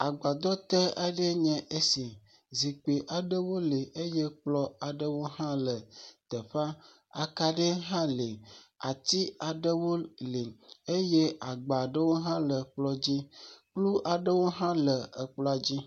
Agbadɔ te aɖe enye esi, zikpui aɖewo le eye kplɔwo hã le teƒea, akaɖi hã le, ati aɖewo le, eye agbawo aɖewo ha le kplɔ dzi, kplu aɖewo hã le kplɔ dzi.